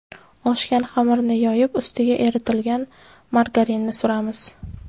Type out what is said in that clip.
Oshgan xamirni yoyib, ustiga eritilgan margarinni suramiz.